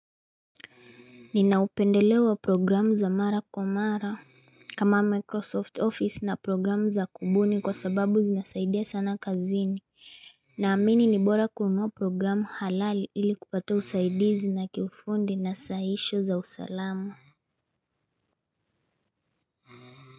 Ninaupendelea programu za mara kwa mara kama Microsoft Office na programu za kubuni kwa sababu zinasaidia sana kazini na amini ni bora kunua programu halali ili kupata usaidizi na kiufundi na saisho za usalamu.